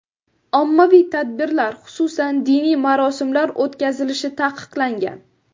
Ommaviy tadbirlar, xususan, diniy marosimlar o‘tkazilishi taqiqlangan.